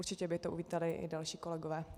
Určitě by to uvítali i další kolegové.